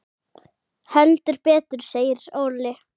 Heldur betur segir Óli.